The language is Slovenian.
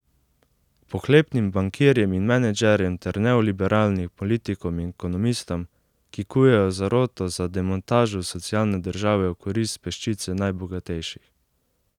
Pohlepnim bankirjem in menedžerjem ter neoliberalnim politikom in ekonomistom, ki kujejo zaroto za demontažo socialne države v korist peščice najbogatejših.